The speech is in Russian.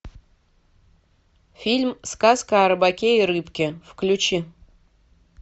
фильм сказка о рыбаке и рыбке включи